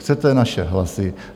Chcete naše hlasy?